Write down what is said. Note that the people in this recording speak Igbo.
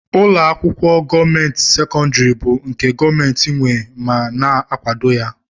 Ụlọakwụkwọ gọọmenti sekondari bụ nke gọọmenti nwé ma na akwado ha.